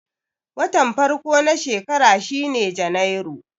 Watan farko na shekara shine Janairu.